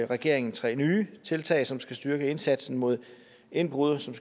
regeringen tre nye tiltag som skal styrke indsatsen mod indbrud og som